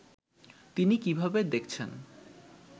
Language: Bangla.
তিনি কীভাবে দেখছেন